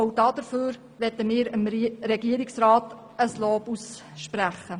Auch dafür möchten wir ihm ein Lob aussprechen.